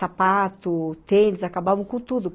Sapato, tênis, acabavam com tudo.